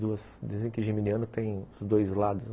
Dizem dizem que geminiano tem os dois lados, né.